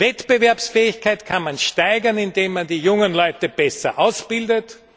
Wettbewerbsfähigkeit kann man steigern, indem man die jungen Leute besser ausbildet.